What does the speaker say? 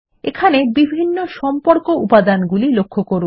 এখানে বিভিন্ন সম্পর্ক উপাদানগুলি লক্ষ্য করুন